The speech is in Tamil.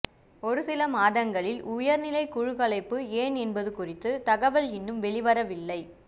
ஒருசில மாதங்களில் உயர்நிலைக்குழு கலைப்பு ஏன் என்பது குறித்த தகவல் இன்னும் வெளிவரவில்லை